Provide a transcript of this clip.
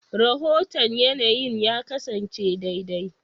Rahoton yanayin ya kasance daidai.